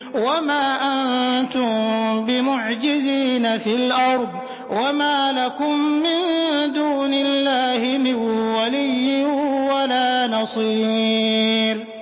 وَمَا أَنتُم بِمُعْجِزِينَ فِي الْأَرْضِ ۖ وَمَا لَكُم مِّن دُونِ اللَّهِ مِن وَلِيٍّ وَلَا نَصِيرٍ